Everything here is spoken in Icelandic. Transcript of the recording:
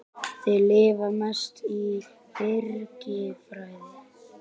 Þeir lifa mest á birkifræi.